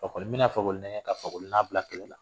A kɔɔni bɛ na Fakoli nɛgɛn ka Fakoli n'a bila kɛlɛ la.